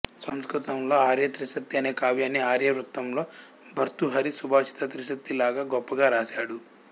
సంస్కృతం లో ఆర్యా త్రిశతి అనే కావ్యాన్ని ఆర్యా వృత్తం లో భర్తృహరి సుభాషిత త్రిశతి లాగా గొప్పగా రాశాడు